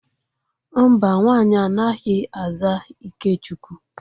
Mba, nwaanyị anaghi aza Ikechukwu.